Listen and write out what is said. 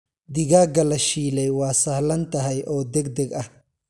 Digaagga la shiilay waa sahlan tahay oo degdeg ah.